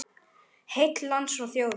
Heill lands og þjóðar.